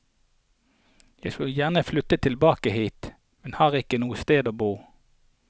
Jeg skulle gjerne flyttet tilbake hit, men har ikke noe sted å bo.